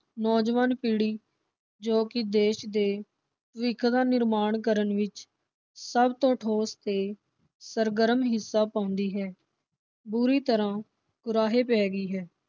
ਨੌਜਵਾਨ ਪੀੜੀ ਜੋ ਕਿ ਦੇਸ਼ ਦੇ ਭਵਿੱਖ ਦਾ ਨਿਰਮਾਣ ਕਰਨ ਵਿਚ ਸਭ ਤੋਂ ਠੋਸ ਤੇ ਸਰਗਰਮ ਹਿੱਸਾ ਪਾਉਂਦੀ ਹੈ l ਬੁਰੀ ਤਰ੍ਹਾਂ ਕੁਰਾਹੇ ਪੈ ਗਈ ਹੈ।